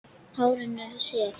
Hárin eru sef.